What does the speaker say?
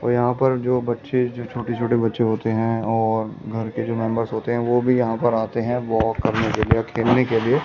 यहां पर जो बच्चे जो छोटे-छोटे बच्चे होते हैं और घर के जो मेंबर्स होते हैं वो भी यहां पर आते हैं वॉक करने के लिए खेलने के लिए ।